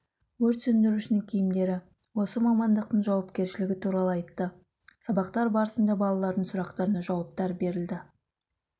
өрт сөндірушінің киімдері осы мамандықтың жауапкершілігі туралы айтты сабақтар барысында балалардың сұрақтарына жауаптар берілді